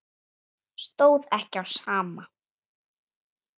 Stóð ekki á sama.